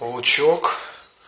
паучок